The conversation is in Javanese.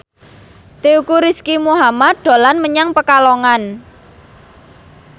Teuku Rizky Muhammad dolan menyang Pekalongan